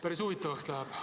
Päris huvitavaks läheb.